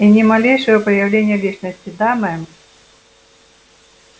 и ни малейшего проявления личности да мэм